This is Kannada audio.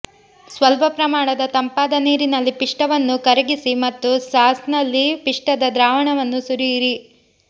ಸ್ವಲ್ಪ ಪ್ರಮಾಣದ ತಂಪಾದ ನೀರಿನಲ್ಲಿ ಪಿಷ್ಟವನ್ನು ಕರಗಿಸಿ ಮತ್ತು ಸಾಸ್ನಲ್ಲಿ ಪಿಷ್ಟದ ದ್ರಾವಣವನ್ನು ಸುರಿಯಿರಿ